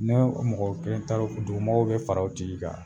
Ne mɔgɔ kelen ta don dugumɔgɔw be fara o tigi kan.